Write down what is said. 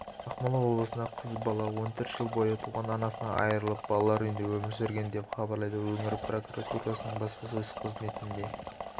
ақмола облысында қыз бала он төрт жыл бойы туған анасынан айрылып балалар үйінде өмір сүрген деп хабарлайды өңір прокуратурасының баспасөз қызметіне